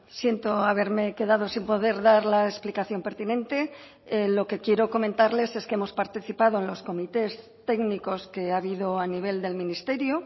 siento haberme quedado sin poder dar la explicación pertinente lo que quiero comentarles es que hemos participado en los comités técnicos que ha habido a nivel del ministerio